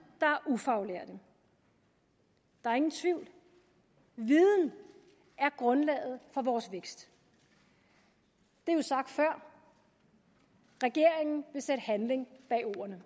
der er ufaglærte der er ingen tvivl viden er grundlaget for vores vækst det er jo sagt før regeringen vil sætte handling bag ordene